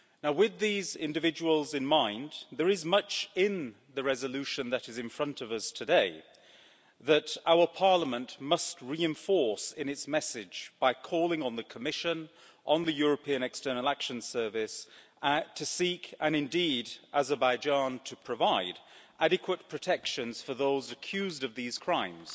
With these individuals in mind, there is much in the resolution that is in front of us today that our Parliament must reinforce in its message by calling on the Commission, on the European External Action Service to seek, and indeed Azerbaijan to provide, adequate protections for those accused of these crimes,